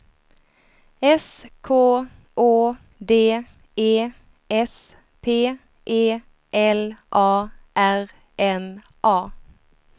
S K Å D E S P E L A R N A